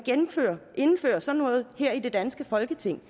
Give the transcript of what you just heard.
indfører sådan noget her i det danske folketing